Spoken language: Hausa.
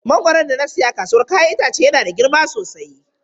Mangoron da na saya a kasuwar 'ya'yan itace yana da girma sosai.